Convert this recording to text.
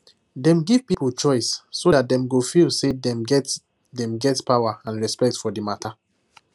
dem give people choice so that dem go feel say dem get dem get power and respect for the matter